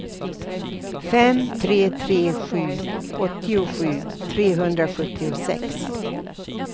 fem tre tre sju åttiosju trehundrasjuttiosex